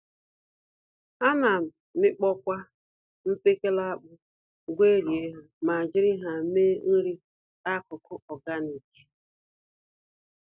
Ana amịkpọkwa mkpekele akpụ, gwerie ha, ma jiri ha mee nri-akụkụ ọganik